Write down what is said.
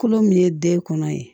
Kolo min ye den kɔnɔ ye